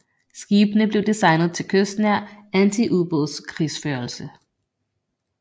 Skibene blev designet til kystnær antiubådskrigsførelse